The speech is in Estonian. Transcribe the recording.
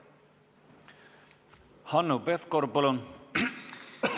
Hanno Pevkur, palun!